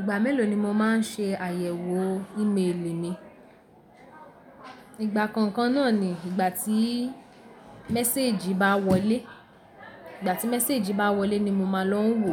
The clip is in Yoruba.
Ìgbà mélòó ni mo máa ń ṣe àyẹ̀wò ímeèlì mi? Ìgbà kọ̀ọ̀kan náà ni ìgbà tí mẹséèjì bá wọlé. Ìgbà tí mẹséèjì bá wọlé ni mo máa lọ ń wò,